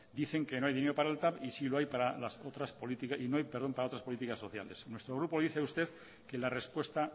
dicen que no hay dinero para el tav y no hay para otras políticas sociales nuestro grupo le dice a usted que la respuesta